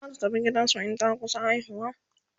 zata tafi gidansu in ta kusa haihuwa